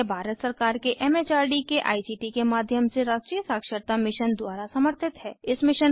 यह भारत सरकार के एम एच आर डी के आई सी टी के माध्यम से राष्ट्रीय साक्षरता मिशन द्वारा समर्थित है